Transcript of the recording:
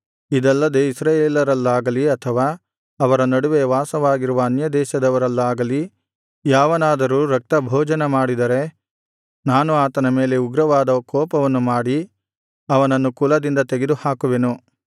ಇದಲ್ಲದೆ ಇಸ್ರಾಯೇಲರಲ್ಲಾಗಲಿ ಅಥವಾ ಅವರ ನಡುವೆ ವಾಸವಾಗಿರುವ ಅನ್ಯದೇಶದವರಲ್ಲಾಗಲಿ ಯಾವನಾದರೂ ರಕ್ತಭೋಜನಮಾಡಿದರೆ ನಾನು ಆತನ ಮೇಲೆ ಉಗ್ರವಾದ ಕೋಪವನ್ನು ಮಾಡಿ ಅವನನ್ನು ಕುಲದಿಂದ ತೆಗೆದುಹಾಕುವೆನು